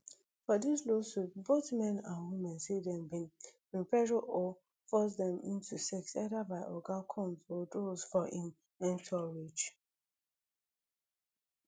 for dis lawsuits both men and women say dem bin bin pressure or force dem into sex either by oga combs or those for im entourage